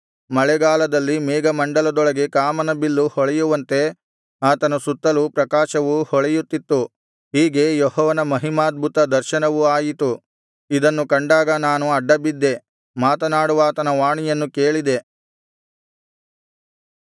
ಮಳೆಗಾಲದಲ್ಲಿ ಮೇಘಮಂಡಲದೊಳಗೆ ಕಾಮನ ಬಿಲ್ಲು ಹೊಳೆಯುವಂತೆ ಆತನ ಸುತ್ತಲೂ ಪ್ರಕಾಶವು ಹೊಳೆಯುತ್ತಿತ್ತು ಹೀಗೆ ಯೆಹೋವನ ಮಹಿಮಾದ್ಭುತ ದರ್ಶನವು ಆಯಿತು ಇದನ್ನು ಕಂಡಾಗ ನಾನು ಅಡ್ಡಬಿದ್ದೆ ಮಾತನಾಡುವಾತನ ವಾಣಿಯನ್ನು ಕೇಳಿದೆ